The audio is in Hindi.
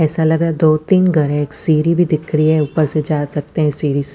ऐसा लग़ रहा है दो तीन घर है। एक सीडी भी दिख रही है ऊपर से जा सकते हैं सीडी से--